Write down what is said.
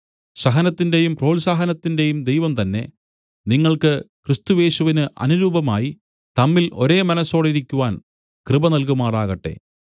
സഹനത്തിന്റെയും പ്രോത്സാഹനത്തിന്റെയും ദൈവം തന്നെ നിങ്ങൾക്ക് ക്രിസ്തുയേശുവിന് അനുരൂപമായി തമ്മിൽ ഒരേ മനസ്സോടിരിക്കുവാൻ കൃപ നല്കുമാറാകട്ടെ